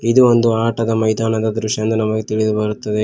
ಇದು ಒಂದು ಆಟದ ಮೈದಾನ ದೃಶ್ಯ ಎಂದು ನಮಗೆ ತಿಳಿದು ಬರುತ್ತದೆ.